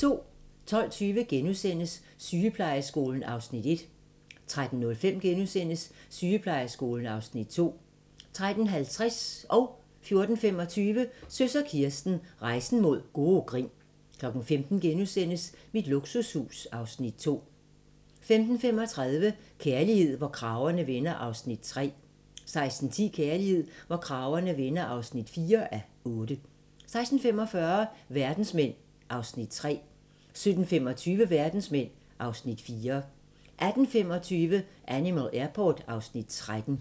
12:20: Sygeplejeskolen (Afs. 1)* 13:05: Sygeplejeskolen (Afs. 2)* 13:50: Søs og Kirsten - Rejsen mod gode grin 14:25: Søs og Kirsten - Rejsen mod gode grin 15:00: Mit luksushus (Afs. 2)* 15:35: Kærlighed, hvor kragerne vender (3:8) 16:10: Kærlighed, hvor kragerne vender (4:8) 16:45: Verdensmænd (Afs. 3) 17:25: Verdensmænd (Afs. 4) 18:25: Animal Airport (Afs. 13)